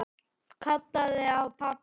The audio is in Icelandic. Kallaði á pabba.